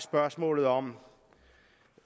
spørgsmål om